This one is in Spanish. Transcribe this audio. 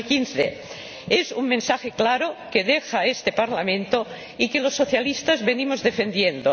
2015. Es un mensaje claro que deja este Parlamento y que los socialistas venimos defendiendo.